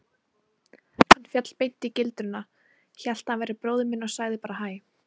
Hann féll beint í gildruna, hélt að ég væri bróðir minn og sagði bara hæ.